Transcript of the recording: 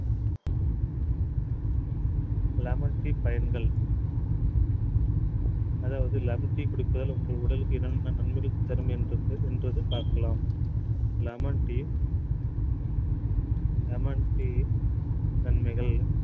lemon tea பயன்கள் அதாவது lemon tea குடிப்பதால் உங்கள் உடலுக்கு என்னென்ன நன்மைகள் தரும் என்பதை பார்க்கலாம் lemon tea lemon tea நன்மைகள்